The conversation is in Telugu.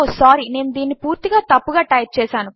సారీ నేను దీనిని పూర్తిగా తప్పుగా టైప్ చేశాను